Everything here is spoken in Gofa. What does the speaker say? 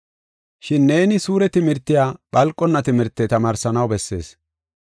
Shin neeni suure timirtiya phalqonna timirte tamaarsanaw bessees.